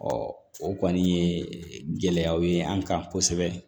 o kɔni ye gɛlɛyaw ye an kan kosɛbɛ